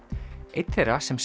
einn þeirra sem